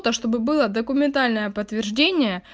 то чтобы было документальное подтверждение